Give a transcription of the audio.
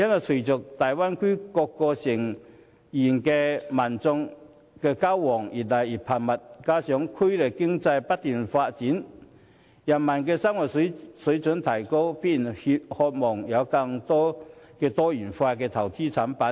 隨着大灣區各成員的民眾交往日趨頻繁，加上區內經濟不斷發展，人民生活水平提高，必然渴望有更多多元化的投資及保險產品。